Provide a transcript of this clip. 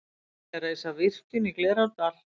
Vilja reisa virkjun í Glerárdal